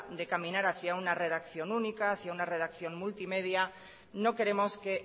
de caminar hacia una redacción única hacia una redacción multimedia no queremos que